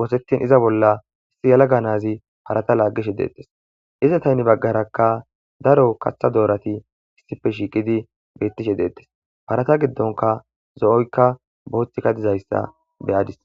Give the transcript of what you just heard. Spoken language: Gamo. wosettin iza bolla issi yala ga nazi parata laagishe deettes iza taynne baggarakka daro kaththa doorati issife shiiqidi beettishe deettes parata giddonka zo'oykka booththika dizayssa beyadis.